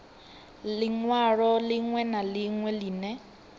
linwalo linwe na linwe line